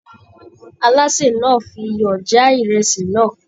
Alase náà fí iyọ já ìrèsì náà.